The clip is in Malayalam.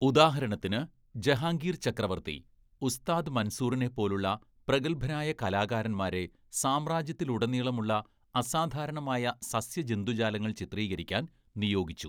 ഉദാഹരണത്തിന് ജഹാംഗീർ ചക്രവർത്തി ഉസ്താദ് മൻസൂറിനെപ്പോലുള്ള പ്രഗത്ഭരായ കലാകാരന്മാരെ സാമ്രാജ്യത്തിലുടനീളമുള്ള അസാധാരണമായ സസ്യജന്തുജാലങ്ങൾ ചിത്രീകരിക്കാൻ നിയോഗിച്ചു.